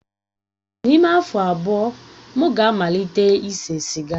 N'ime afọ abụọ, m ga-amalite ise siga.